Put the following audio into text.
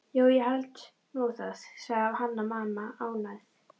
Jú, ég held nú það, sagði Hanna-Mamma ánægð.